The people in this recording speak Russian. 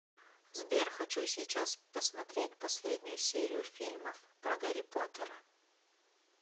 сбер хочу сейчас посмотреть последнюю серию фильмов про гарри потера